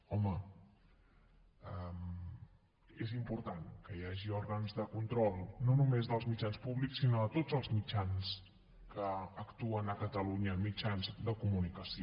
home és important que hi hagi òrgans de control no només dels mitjans públics sinó de tots els mitjans que actuen a catalunya mitjans de comunicació